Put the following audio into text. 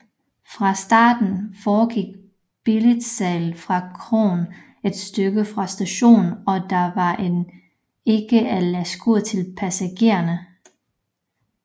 Fra starten foregik billetsalget fra kroen et stykke fra stationen og der var end ikke et læskur til passagererne